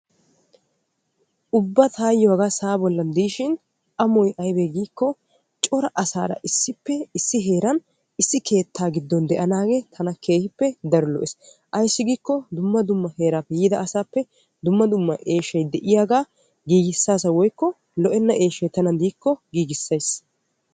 ubba tayyoo hagaa sa'aa bollan diishshin amoy ayibee giyaaba gidikko cora asaara issippe issi heeran issi keettan de'anaagee tana keehippe amoyees. ayissi gidikko dumma dumma heeraappe yiida asaappe dumma dumma eeshshay de'iyaagaa woyikko lo'enna eeshshay tanan diikko giigissayis.